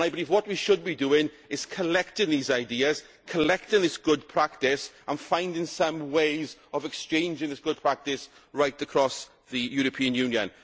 I believe what we should be doing is collecting these ideas, collecting this good practice and finding some ways of exchanging this good practice right across the European Union.